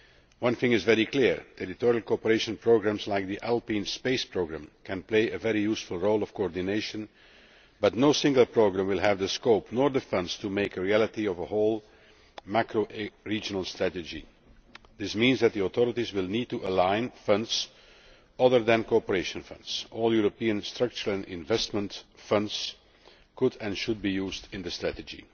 one thing is very clear territorial cooperation programmes like the Alpine Space Programme can play a very useful coordination role, but no single programme will have the scope or the funds to make a reality of a whole macro regional strategy. This means that the authorities will need to align funds other than cooperation funds all European Structural and Investment Funds could and should be used in the strategy.